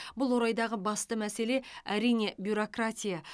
бұл орайдағы басты мәселе әрине бюрократия